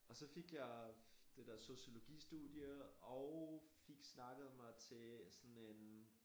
Og så fik jeg det dér sociologistudie og fik snakket mig til sådan en